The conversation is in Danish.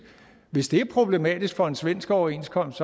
hvis det er problematisk for en svensk overenskomst